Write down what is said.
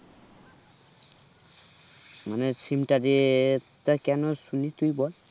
মানে SIM টা যে তা কেন শুনি তুই বল